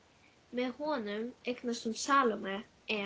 Með honum eignast hún Salóme, en